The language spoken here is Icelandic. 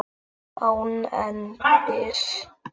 Án endis.